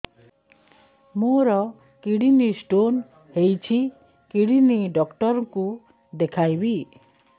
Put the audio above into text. ମୋର kidney stone ହେଇଛି kidney doctor କୁ ଦେଖାଇବି